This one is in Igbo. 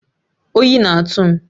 Oyi na-atụ m